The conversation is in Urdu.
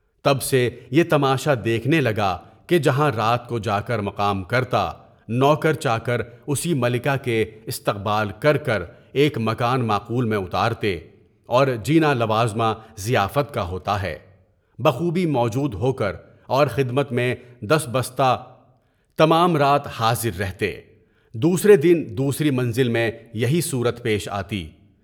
تب سے یے تماشا دیکھنے لگا کہ جہاں رات کو جا کر مقام کرتا، وہاں کے چاکر اسی ملکہ کے استقبال کر کے ایک مکان معقول میں اتارتے، اور جینا لوازمہ ضیافت کا ہوتا ہے، بخوبی موجود ہو کر اور خدمت میں دست بستہ تمام رات حاضر رہتے، دوسرے دن دوسری منزل میں یہی صورت پیش آتی۔